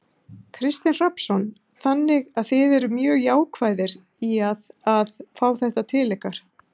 Kristinn Hrafnsson: Þannig að þið eruð mjög jákvæðir í að, að fá þetta til ykkar?